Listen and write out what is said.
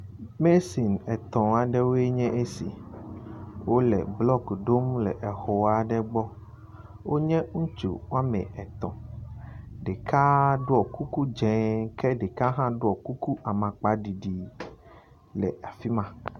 Mesin etɔ̃ aɖewo nye esi. Wo le blɔki ɖom le exɔ aɖe gbɔ. Wo nye ŋutsu wɔme etɔ̃. Ɖeka ɖɔ kuku dze ke ɖeka hã ɖɔ kuku amakpaɖiɖi le afi ma.